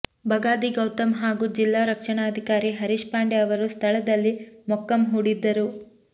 ಬಗಾದಿ ಗೌತಮ್ ಹಾಗೂ ಜಿಲ್ಲಾ ರಕ್ಷಣಾಧಿಕಾರಿ ಹರೀಶ್ ಪಾಂಡೆ ಅವರು ಸ್ಥಳದಲ್ಲಿ ಮೊಕ್ಕಂ ಹೂಡಿದ್ದರು